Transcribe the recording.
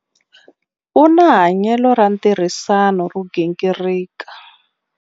U na hanyelo ra ntirhisano ro gingirika.